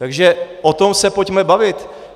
Takže o tom se pojďme bavit.